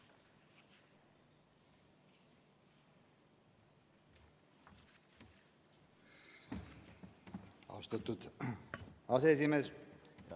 Austatud aseesimees!